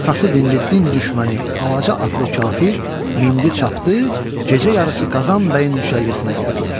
sası dinli, din düşməni, avaca atlı kafir mindi, çapdı, gecə yarısı Qazan bəyin düşərgəsinə gəldi.